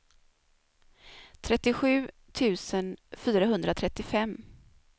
trettiosju tusen fyrahundratrettiofem